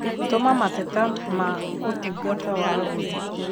tũma mateta ma ũtungata wa agũri